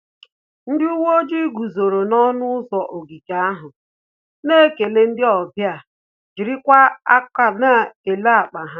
Ndị uwe ojii guzoro n'ọṅụ ụzọ ogige ahụ, na-ekele ndị ọbịa jirikwa akọ na-ele akpa ha